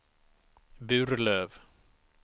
Burlöv